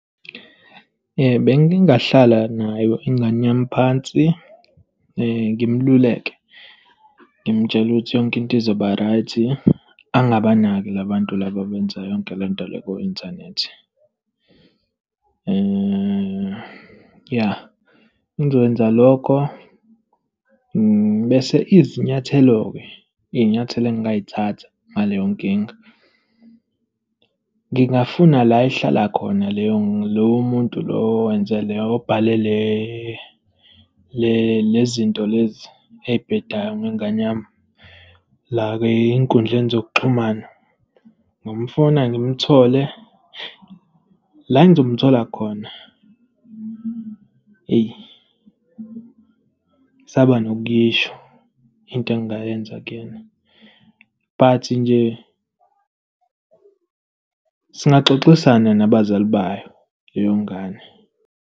Bengingahlala nayo ingane yami phansi, ngimluleke, ngimtshele ukuthi yonke into izoba right. Angabanaki la bantu laba abenza yonke le nto le ku-inthanethi. Ya, bengizokwenza lokho, ngibese izinyathelo-ke, iy'nyathelo engingay'thatha ngaleyo nkinga, ngingafuna la ehlala khona leyo lowo muntu lo owenze le, obhale le, le zinto lezi ey'bhedayo ngengane yami la ezinkundleni zokuxhumana. Ngingamfuna ngimthole. La engizomthola khona, eyi, ngisaba nokuyiisho into engingayenza kuyena. But nje singaxoxisana nabazali bayo, leyo ngane.